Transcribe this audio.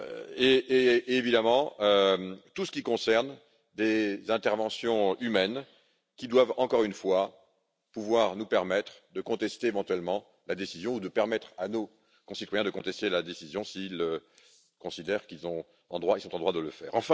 Et évidemment, tout ce qui concerne des interventions humaines qui doivent, encore une fois, pouvoir nous permettre de contester éventuellement la décision, permettre à nos concitoyens de contester la décision s'ils considèrent qu'ils sont en droit de le faire.